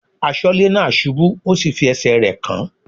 Aṣọ́lẹ́ náà ṣubú ó sì fi ẹsẹ̀ rẹ̀ kán.